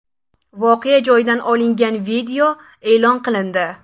Voqea joyida olingan video e’lon qilindi.